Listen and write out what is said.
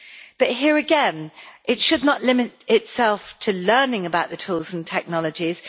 But here, again, it should not limit itself to learning about the tools and technologies